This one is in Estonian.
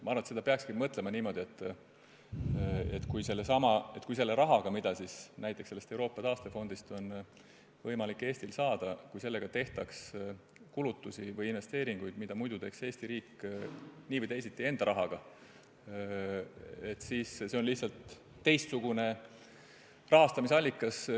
Ma arvan, et peaks mõtlema niimoodi, et kui selle rahaga, mida meil on võimalik sellest Euroopa taastefondist saada, tehtaks kulutusi või investeeringuid, mida muidu Eesti riik teeks nii või teisiti enda rahaga, siis see on lihtsalt teistsugune kulutuste rahastamise allikas.